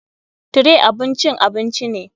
Tray abun cin abinci ne.